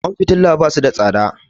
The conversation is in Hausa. Kwan fitila basu da tsada